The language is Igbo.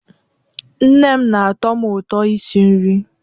Nne m na-atọ m ụtọ isi nri